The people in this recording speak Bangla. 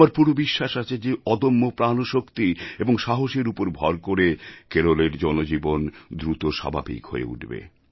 আমার পুরো বিশ্বাস আছে যে অদম্য প্রাণশক্তি ও সাহসের উপর ভর করে কেরলের জনজীবন দ্রুত স্বাভাবিক হয়ে উঠবে